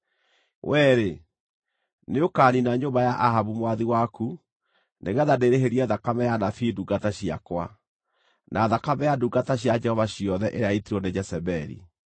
Wee-rĩ, nĩũkaniina nyũmba ya Ahabu mwathi waku nĩgeetha ndĩĩrĩhĩrie thakame ya anabii ndungata ciakwa, na thakame ya ndungata cia Jehova ciothe ĩrĩa yaitirwo nĩ Jezebeli.